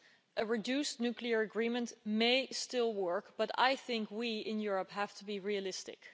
A reduced nuclear agreement may still work, but I think we, in Europe, have to be realistic.